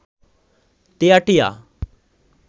তেয়াটিয়া